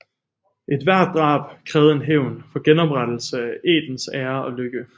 Ethvert drab krævede en hævn for genoprettelse af ættens ære og lykke